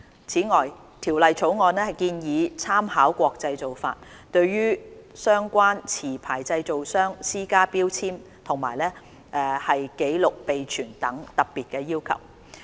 此外，《條例草案》建議參考國際做法，對相關持牌製造商施加標籤及紀錄備存等特別要求。